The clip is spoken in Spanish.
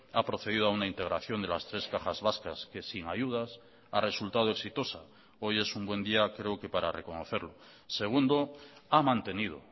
ha procedido a una integración de las tres cajas vascas que sin ayudas ha resultado exitosa hoy es un buen día creo que para reconocerlo segundo ha mantenido